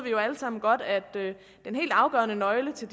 jo alle sammen godt at den helt afgørende nøgle til